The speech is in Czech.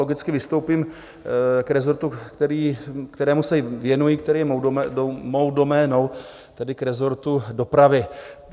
Logicky vystoupím k resortu, kterému se věnuji, který je mou doménou, tedy k resortu dopravy.